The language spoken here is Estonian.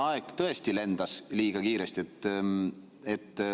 Aeg tõesti lendas liiga kiiresti.